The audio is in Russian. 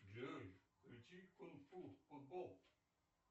джой включи кунг фу футбол